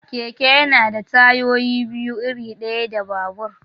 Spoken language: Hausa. Keke yana da tayoyi biyu, iri ɗaya da babur.